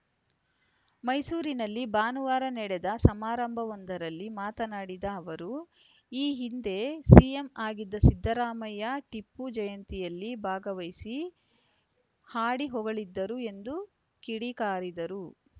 ಮೈಸೂರಿನಲ್ಲಿ ಭಾನುವಾರ ನಡೆದ ಸಮಾರಂಭವೊಂದರಲ್ಲಿ ಮಾತನಾಡಿದ ಅವರು ಈ ಹಿಂದೆ ಸಿಎಂ ಆಗಿದ್ದ ಸಿದ್ದರಾಮಯ್ಯ ಟಿಪ್ಪು ಜಯಂತಿಯಲ್ಲಿ ಭಾಗವಹಿಸಿ ಹಾಡಿ ಹೊಗಳಿದ್ದರು ಎಂದು ಕಿಡಿಕಾರಿದರು